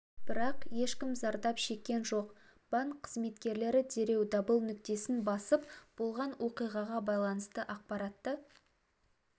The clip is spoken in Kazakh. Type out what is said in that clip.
бірақ ешкім зардап шеккен жоқ банк қызметкерлері дереу дабыл нүктесін басып болған оқиғаға байланысты ақпаратты